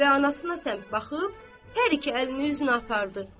Və anasına səmt baxıb, hər iki əlini üzünə apardı.